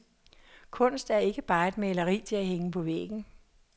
Kunst er ikke bare et maleri til at hænge på væggen.